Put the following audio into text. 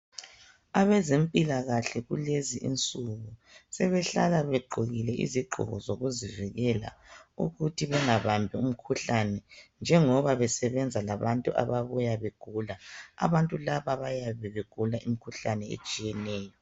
Abezempilakahle kulezinsuku sebehlala begqokile izigqoko ezivikela ukuthi bangabambi umikhuhlane njengoba besebezenza labantu ababuya begula abantu laba bayabe begula imikhuhlane etshiyeneyo.